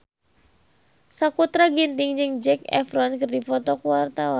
Sakutra Ginting jeung Zac Efron keur dipoto ku wartawan